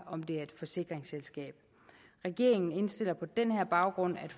et forsikringsselskab regeringen indstiller på den baggrund at